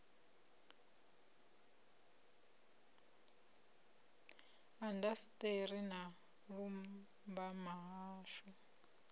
indasiṱeri na u lumbama hashu